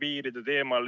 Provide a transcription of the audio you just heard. Ei ole!